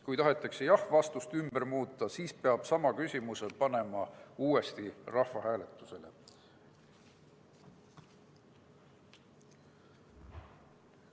Kui tahetakse jah-vastust ümber muuta, siis peab sama küsimuse panema uuesti rahvahääletusele.